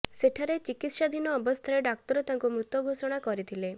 ସେଠାରେ ଚିକିତ୍ସାଧୀନ ଅବସ୍ଥାରେ ଡାକ୍ତର ତାଙ୍କୁ ମୃତ ଘୋଷଣା କରିଥିଲେ